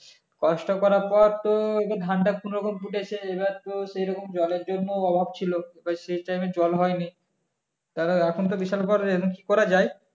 কষ্ট করার পর তো এবার ধানটা কোনোরকম ফুটেছে এবার তো সেরকম জলের জন্য অভাব ছিল আবার সে time এ জল হয়নি তাহলে এখন তো বিশাল problem এবার কি করা যায়